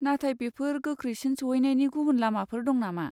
नाथाय बेफोर गोख्रैसिन सौहैनायनि गुबुन लामाफोर दं नामा?